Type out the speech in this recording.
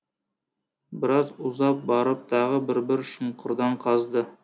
біраз ұзап барып тағы бір бір шұңқырдан қазды